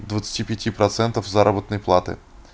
двадцати пяти процентов заработной платы